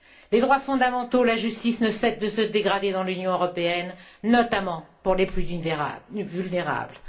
Les droits fondamentaux, la justice, ne cessent de se dégrader dans l'Union européenne, notamment pour les plus vulnérables.